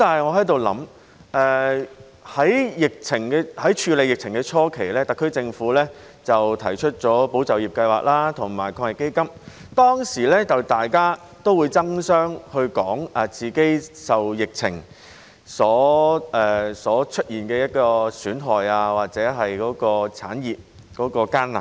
我在想，在處理疫情的初期，特區政府推出了"保就業"計劃及防疫抗疫基金，當時大家會爭相說出自己受疫情出現的損害或產業的艱難。